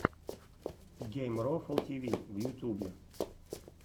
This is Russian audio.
геймрофл тиви в ютюбе